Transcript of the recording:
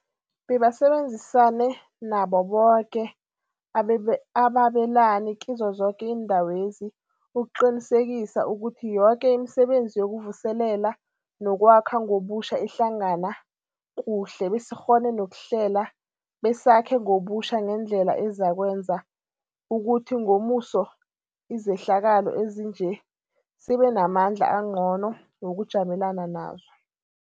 Bebasebenzisane nabo boke ababelani kizo zoke iindawezi ukuqinisekisa ukuthi yoke imisebenzi yokuvuselela nokwakha ngobutjha ihlangana kuhle besikghone nokuhlela besakhe ngobutjha ngendlela ezakwenza ukuthi ngomuso izehlakalo ezinje sibenamandla angcono wokujamelana nazo.